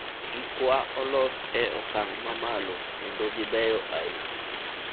gik wa olos e okang' mamalo kendo gibeyo ahinya